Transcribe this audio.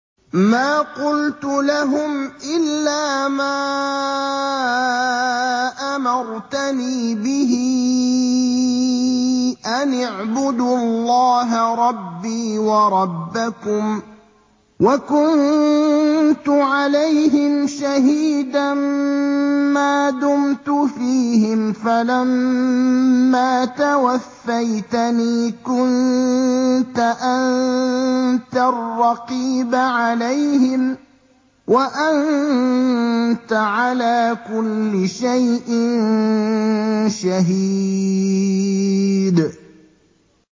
مَا قُلْتُ لَهُمْ إِلَّا مَا أَمَرْتَنِي بِهِ أَنِ اعْبُدُوا اللَّهَ رَبِّي وَرَبَّكُمْ ۚ وَكُنتُ عَلَيْهِمْ شَهِيدًا مَّا دُمْتُ فِيهِمْ ۖ فَلَمَّا تَوَفَّيْتَنِي كُنتَ أَنتَ الرَّقِيبَ عَلَيْهِمْ ۚ وَأَنتَ عَلَىٰ كُلِّ شَيْءٍ شَهِيدٌ